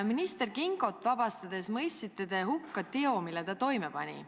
Minister Kingot vabastades mõistsite te hukka teo, mille ta toime pani.